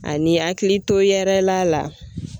Ani hakilito yɛrɛla la.